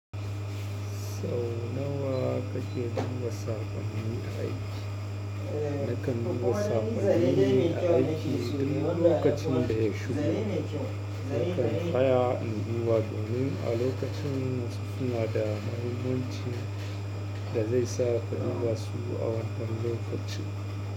Sau nawa kake buga saƙonnin a aiki? Nakan duba saƙonnin aiki a duk lokacin da yashigo nakan tsaya na duba domin alokacin yana da mahimmanci da zai sa ka duba su a wannan lokacin.